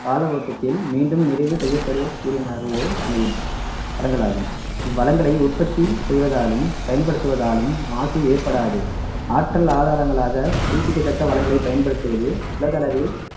கால ஓட்டத்தில் மீண்டும் நிறைவு செய்யப்படக் கூடியவனாகவோ அமையும் வளங்களாகும் இவ்வளங்களை உற்பத்தி செய்வதாலும் பயன்படுத்துவதாலும் மாசு ஏற்படாது ஆற்றல் ஆதாரங்களாக புதுப்பிக்கத்தக்க வளங்களை பயன்படுத்துவது உலக அளவில்